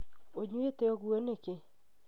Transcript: Ũnyuĩte ũguo nĩkĩ?